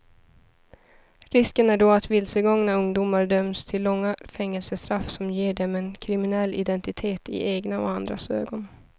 Risken är då att vilsegångna ungdomar döms till långa fängelsestraff som ger dem en kriminell identitet i egna och andras ögon.